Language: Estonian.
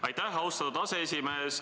Aitäh, austatud aseesimees!